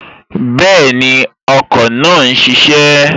Bẹ́ẹ̀ni, ọkọ̀ náà n ṣiṣẹ́